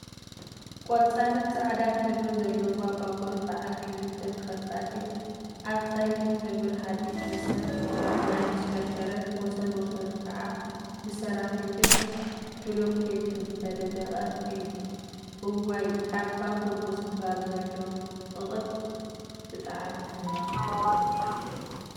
ቆፃልን ፃዕዳን ሕብሪ ዘለዋ ባቡር በዓል ክልተ ተከፋቲት አብ ፀሊም ሕብሪ ሃዲድ መስመር እናተሽከርከረት ወሰን ወሰኑ ከዓ ብሰራሚክን ቡሉኬትን ዝተነደቀ እዩ፡፡ እዋይ አብ ባቡር ምስፋር ዘሎ ፅቅጥ ብጣዕሚ ሕማቅ እዩ፡፡